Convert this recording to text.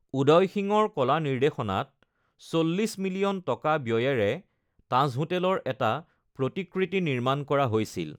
উদয় সিঙৰ কলা নিৰ্দেশনাত ৪০ মিলিয়ন টকা ব্য়য়েৰে তাজ হোটেলৰ এটা প্ৰতিকৃতি নিৰ্মাণ কৰা হৈছিল।